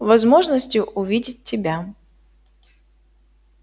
возможности увидеть тебя